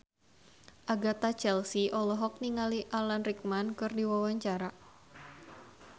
Agatha Chelsea olohok ningali Alan Rickman keur diwawancara